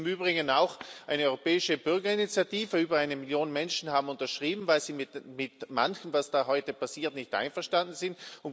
Es gibt im Übrigen auch eine Europäische Bürgerinitiative über eine Million Menschen haben unterschrieben, weil sie mit manchem, was da heute passiert, nicht einverstanden sind.